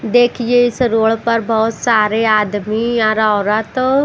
देखिए इस रोड पर बहुत सारे आदमी और औरत--